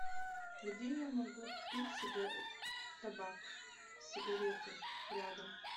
где я могу купить табак сигареты рядом